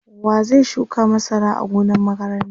wa zai shuka masara a gonan makaranta?